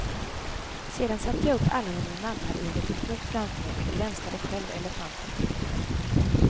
Sedan satte jag upp alla mina nallar i en liten hop framför mig och gränslade själv elefanten på mitten.